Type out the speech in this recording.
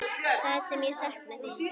Það sem ég sakna þín.